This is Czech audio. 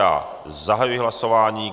Já zahajuji hlasování.